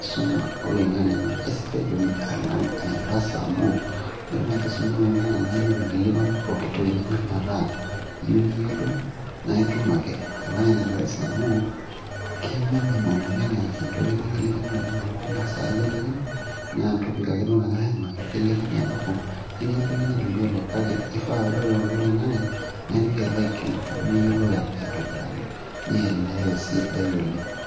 enkisuma oloing'ang'e naa aisidai oleng alang ene darasa amuu ore tenkisuma oloing'ang'e naa indim aikilikuanu poki toki nindim ataa iyieu niyiolou naa itum ake alang ene darasa amu ke minimum oleng entoki nikilikini oleng amu tina saa ake kilikini naa entopik ake duo nagiray aimaki kilikini alafu netii entoki neitu iyiolou kake ifaa ore tenkoitoi oloing'ang'e naa intoki alo aikilikuanu niyiolou aitobiraki ni elewa esidai oleng.